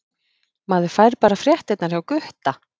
Maður fær bara fréttirnar hjá Gutta!